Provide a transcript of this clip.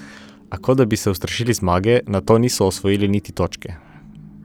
A, kot da bi se ustrašili zmage, nato niso osvojili niti točke.